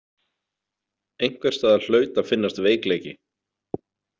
Einhvers staðar hlaut að finnast veikleiki.